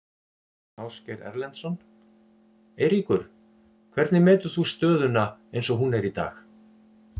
Ásgeir Erlendsson: Eiríkur, hvernig metur þú stöðuna eins og hún er í dag?